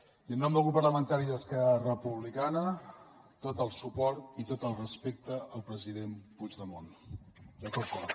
i en nom de grup parlamentari d’esquerra republicana tot el suport i tot el respecte al president puigdemont de tot cor